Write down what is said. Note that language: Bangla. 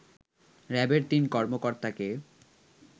র‍্যাবের তিন কর্মকর্তাকে